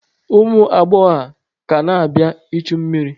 Ụmụ agbọghọ a ka na-abịa ichu mmiri?